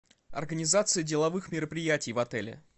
организация деловых мероприятий в отеле